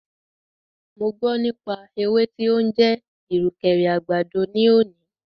Mo gbọ́ nípa ewé tí o ń jẹ́ ìrùkẹ̀rẹ̀ àgbàdo ní òní.